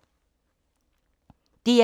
DR1